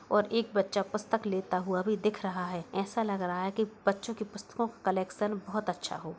और एक बच्चा पुस्तक लेता हुआ भी दिख रहा है। ऐसा लग रहा है कि बच्चों की पुस्तकों का कलेक्शन बहोत अच्छा हो।